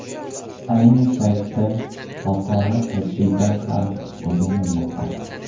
Ayni paytda xalqaro tajriba ham o‘rganilmoqda.